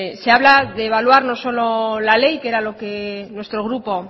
se habla de evaluar no solo la ley que era lo que nuestro grupo